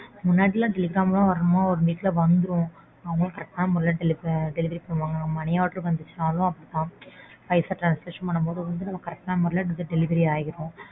முன்னடிலாம் telegram லாம் ஒரு நிமிஷத்துல வந்துரும் அவங்களாம் correct ஆனா முறைல delivery delivery பண்ணுவாங்க. Money order வந்துச்சுனாலும் அப்படித்தான். பைசா Transaction பண்ணும்போது நம்ம correct ஆன முறைல delivery ஆயிடும்.